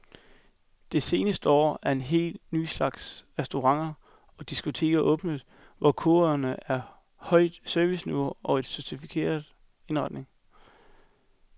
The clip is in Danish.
Det seneste år er en helt ny slags restauranter og diskoteker åbnet, hvor kodeordene er højt serviceniveau og en sofistikeret indretning.